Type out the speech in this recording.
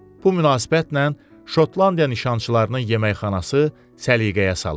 Bu münasibətlə Şotlandiya nişançılarının yeməkxanası səliqəyə salındı.